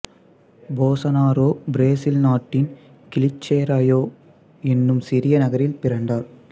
Bolsonaro Brazil நாட்டின் Glicerio என்னும் சிறிய நகரில் பிறந்தார்